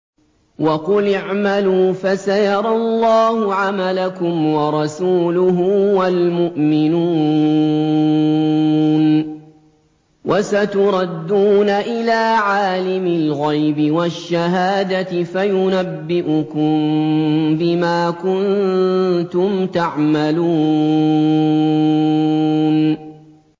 وَقُلِ اعْمَلُوا فَسَيَرَى اللَّهُ عَمَلَكُمْ وَرَسُولُهُ وَالْمُؤْمِنُونَ ۖ وَسَتُرَدُّونَ إِلَىٰ عَالِمِ الْغَيْبِ وَالشَّهَادَةِ فَيُنَبِّئُكُم بِمَا كُنتُمْ تَعْمَلُونَ